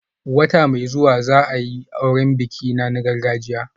Wata mai zuwa za a yi auren bikina na gargajiya